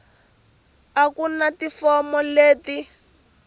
a ku na tifomo leti